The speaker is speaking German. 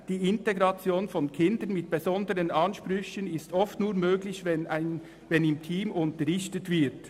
«Die Integration von Kindern mit besonderen Ansprüchen ist oft nur möglich, wenn im Team unterrichtet wird.